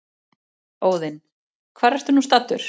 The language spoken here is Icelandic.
Óðinn: Hvar ertu nú staddur?